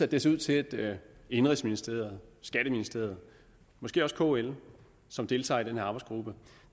det ser ud til at indenrigsministeriet skatteministeriet og måske også kl som deltager i den her arbejdsgruppe